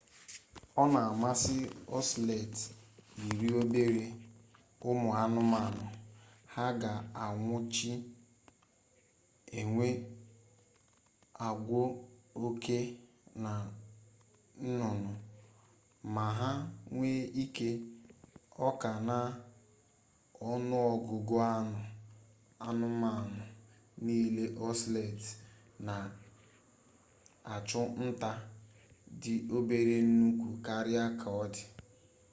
ona amasi ocelot iri obere umu-anumanu ha ga anwuchi enwe agwo oke na nnunu ma ha nwee ike oka-na-onuogugu anu anumanu nile ocelot na achu-nta di obere nnukwu karia ka odi